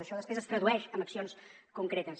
això després es tradueix en accions concretes